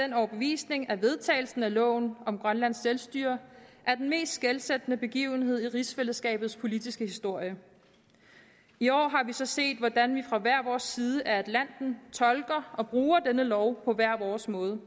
den overbevisning at vedtagelsen af loven om grønlands selvstyre er den mest skelsættende begivenhed i rigsfællesskabets politiske historie i år har man så set hvordan vi fra hver vores side af atlanten tolker og bruger denne lov på hver vores måde